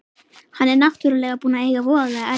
Hann er náttúrlega búinn að eiga voðalega erfitt.